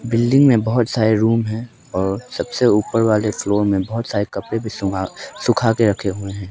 Building में बहुत सारे रूम है और सबसे ऊपर वाले फ्लोर में बहुत सारे कपड़े भी सुंघा सुखा के रखे हुए हैं।